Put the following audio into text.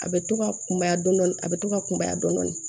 A bɛ to ka kunbaya dɔɔnin a bɛ to ka kunbaya dɔɔnin